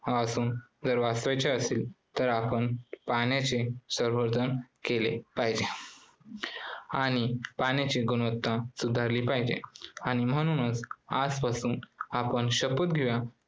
पासून जर वाचवायचे असेल तर आपण पाण्याचे संवर्धन केले पाहिजे आणि पाण्याची गुणवत्ता सुधारली पाहिजे आणि म्हणूनच आज पासून आपण शपथ घेवूया